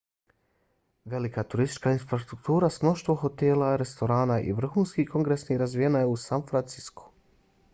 velika turistička infrastruktura s mnoštvo hotela restorana i vrhunskih kongresnih razvijena je u san franciscu